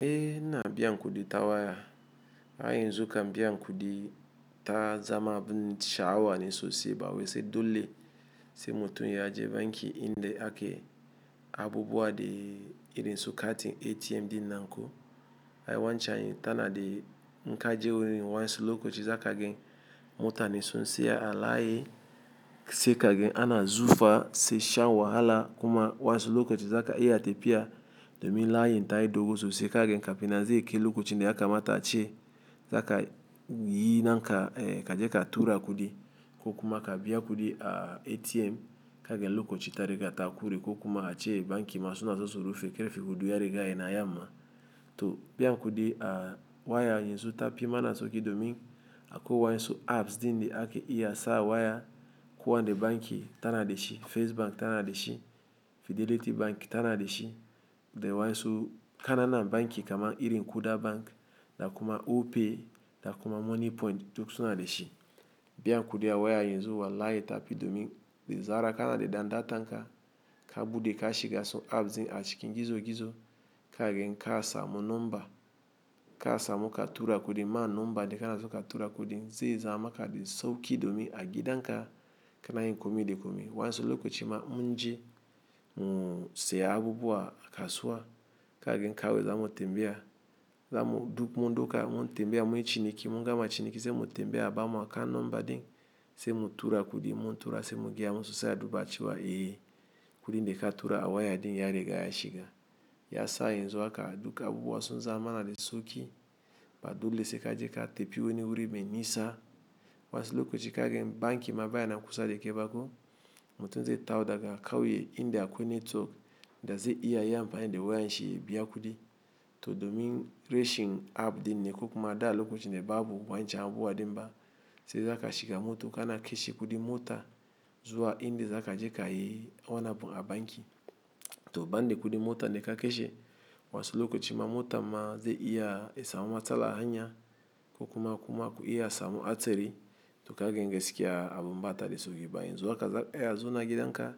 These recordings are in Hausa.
Eh ina biyan kudi ta waya. Ai yanzu kam biyan kudi ta zama abun sha'awa ne sosai ba wai sai dole sai mutum ya je banki inda ake abubuwa dai irin su katin ATM dinnan ko. Ai wanchan ta na da inka je wurin wansu lokaci za ka gan mutane sun saya a layi sai ka gan ana zufa sai shan wahala kuma wansu lokaci za ka iya tafiya domin layin ta yi dogo sosai ka gan kafinan zai kai lokacin da yakamata a ce za ka yi na naka ka je ka tura kudi ko kuma ka biya kudi a ATM ka gan lokaci ta riga ta kure ko kuma a ce banki ma suna so su rufe karfe hudu ya riga ya na yamma. To biyan kudi a waya yanzu ta fi mana sauki domin akwai wansu apps din de ake iya sa a waya kuwa nde banki ta na de shi, First Bank ta na de shi, Fidelity Bank ta na de shi da wansu kananan banki kama irin Kuda Bank da kuma Opay da kuma Moniepoint duk suna da shi. Biyan kudi a waya yanzu walahi ta fi domin da zara kana d dan data nka ka bude ka shiga su apps din a cikin gizo gizo ka gan ka samu number, ka samu ka tura kudi ma number de ka na so ka tura kudin zai zama maka de sauki domin a gidan ka ka na yin komai da komai. Wansu lokaci ma in mun je mu siya abubuwa a kasuwa ka gan kawai zamu tambaya zamu du-- mun dauka mun yi tambaya munyi ciniki mungama ciniki sai mu tambaya a ba mu account number din sai mu tura kudi in mun tura sai mugaya musu sai a duba cewa eh kudi da ka tura a waya din ya riga ya shiga. Ya sa yanzu haka duk abubuwa sun zaman mana da sauki ba dole se ka je ka tafi wani wuri mai nisa. Wansu lokaci ka gan banki ma baya na kusa de kai ba ko mutum zai tawo daga kauye inda akwai network da zai iya yi mfani de wayan shi ya biya kudi. To domin rashin app din ne ko kuma da lokacin da babu wancan abubuwa din ba sai za ka shiga mota kana kashe kudin mota zuwa inda za ka je ka yi wani abu a banki. To ban da kudin mota da ka kashe waddansu lokaci ma motan ma zai iya ya samu matsala a hanya ko kuma kuma ku iya samu a hatsari to ka gan gaskiya abun ba ta da sauki ba. Yanzu haka za ka iya zauna a gidan ka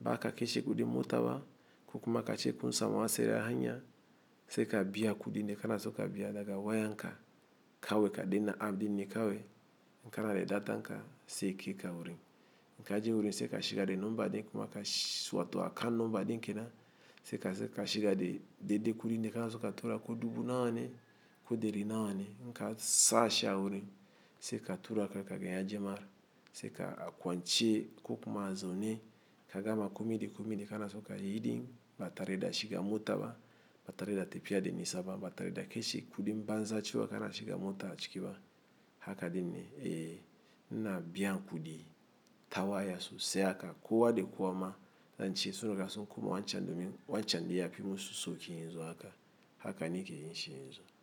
ba ka kashe kudi mota ba ko kuma ka ce kun samu hatsari a hanya sai ka biya kudi da ka na so ka biya daga wayan ka kawai ka danna app din ne kawai in ka na da datan ka sai ya kai ka wurin. In ka je wurin sai ka shiga da number din kuma ka wato account number din kenan sai ka sai ka shiga da daidai kudin da ka na so ka tura ko dubu nawa ne ko dari nawa ne in ka sa shi a wurin sai ka tura za ka gan ya je ma sai ka akwance ko kuma a zaune ka gama komai de komai de ka na so ka yi din ba tare da shiga mota ba ba tare da tafiya da nisa ba ba tare da kashe kudin banza cewa kana shiga mota a ciki ba haka din ne. Eh ina biyan kudi ta waya sosai haka kowa da kowa ma zan ce sun riga sun koma wancan domin wancan dai ya fi musu sauki yanzu haka haka ni ke yin shi ya zu.